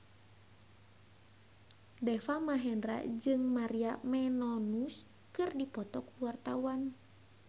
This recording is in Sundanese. Deva Mahendra jeung Maria Menounos keur dipoto ku wartawan